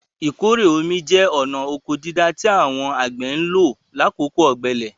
Ìkórè omi jẹ́ ọ̀na ọkọ dídá tí àwọn àgbẹ̀ ń lò lákòókò ọ̀gbẹlẹ̀.